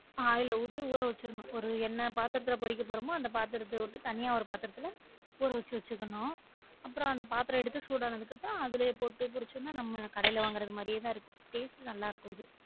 Oil அஹ் ஊத்தி வச்சிரணும் ஒரு என்ன பாத்திரத்தில பொரிக்க போறோமோ அந்த பாத்திரத்த உட்டு தனியா ஒரு பாத்திரத்துல ஊற வச்சி வச்சிக்கணும் அப்றம் அந்த பாத்திரம் எடுத்து சூடானதுக்கு அப்புறம் அதுலே போட்டு போரிச்சோம் நா நம்ம கடையில வாங்குரது மாதிரியே தான் இருக்கும் taste உ நல்ல இருக்கும் இது